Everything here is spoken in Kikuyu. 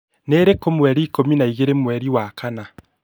nirĩ kũ mweri ikũmi na ĩgĩrĩ mweri wa kana